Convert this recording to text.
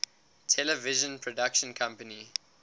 television production company